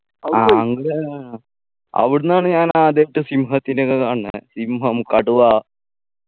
ആ അവിടുന്നാണ് ഞാൻ ആദ്യയിട്ട് സിംഹത്തിനെക്കെ കാണുന്നെ സിംഹം കടുവ